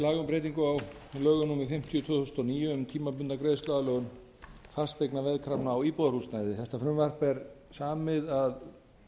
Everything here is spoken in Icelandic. breytingu á lögum númer fimmtíu tvö þúsund og níu um tímabundna greiðsluaðlögun fasteignaveðkrafna á íbúðarhúsnæði þetta frumvarp þetta er samið að